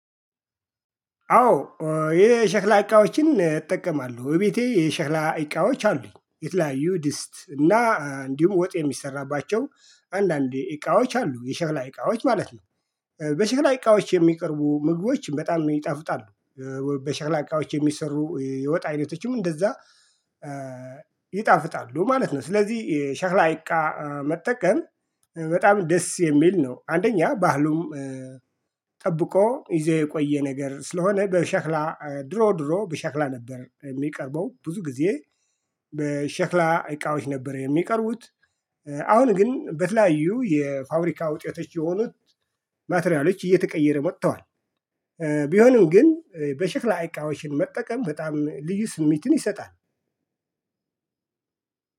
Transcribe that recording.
አዎ የሸክላ እቃዎችን እጠቀማለሁ ቤቴ የሸክላ እቃዎች አሉኝ የተለያዩ ድስት እና እንዲሁም ወጥ የሚሰራባቸው አንዳንዴ እቃዎች አሉ የሸላ እቃዎች ማለት ነው። በሸክላ እቃዎች የሚቀርቡ ምግቦች በጣም ይጠፉጣሉ። በሸክላ እቃዎች የሚሰሩ የወጣ አይነቶችም እንደዛ። ይጣፍጣሉ ማለት ነው። ስለዚህ የሻላ እቃ መጠቀም በጣም ደስ የሚል ነው አንደኛ ባህሉም። ጠብቆ ይዘው የቆየ ነገር ስለሆነ በሸክላ ድሮ ድሮ በሸክላ ነበር የሚቀርበው ብዙ ጊዜ። በሸክላ እቃዎች ነበር የሚቀርቡት። አሁን ግን በተለያዩ የፋብሪካ ውጤቶች የሆኑት። ማቴሪያሎች እየተቀየረ መተዋል። ቢሆንም ግን በሽክላ እቃዎች መጠቀም በጣም ልዩ ስሜትን ይሰጣል።